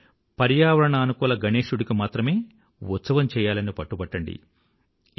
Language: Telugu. కానీ పర్యావరణానుకూలఇకోఫ్రెండ్లీ గణేశుడికి మాత్రమే ఉత్సవం చెయ్యాలని పట్టుబట్టండి